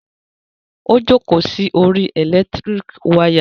Ó jókòó sí orí ẹ̀lẹ́tíríkì wayà.